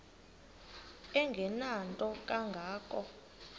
engenanto kanga ko